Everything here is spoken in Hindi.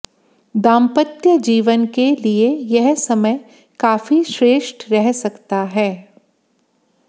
दाम्पत्य जीवन के लिए यह समय काफी श्रेष्ठ रह सकता है